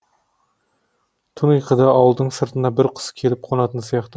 түн ұйқыда ауылдың сыртына бір құс келіп қонатын сияқты